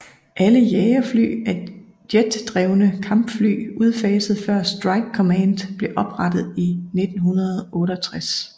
Alle jagerfly er jetdrevne Kampfly udfaset før Strike command blev oprettet i 1968